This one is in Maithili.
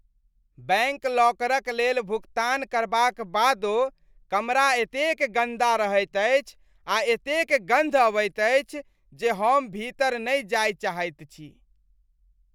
बैंक लॉकरक लेल भुगतान करबाक बादो, कमरा एतेक गन्दा रहैत अछि आ एतेक गन्ध अबैत अछि जे हम भीतर नहि जाय चाहैत छी।